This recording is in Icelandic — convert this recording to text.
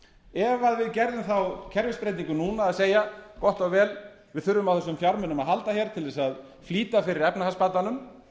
ef við gerðum þá kerfisbreytingu núna að segja gott og vel við þurfum á þessum fjármunum að halda hér til þess að flýta fyrir efnahagsbatanum